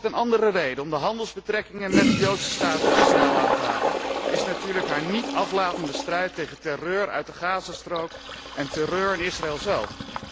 Een andere reden om de handelsbetrekkingen met de joodse staat Israël aan te halen is natuurlijk haar niet aflatende strijd tegen terreur uit de Gazastrook en terreur in Israël zelf.